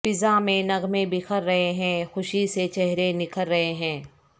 فضا میں نغمے بکھر رہے ہیں خوشی سے چہرے نکھر رہے ہیں